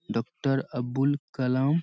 doctor Abul Kalam --